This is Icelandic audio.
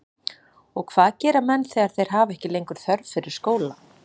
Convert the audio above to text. Og hvað gera menn þegar þeir hafa ekki lengur þörf fyrir skóla?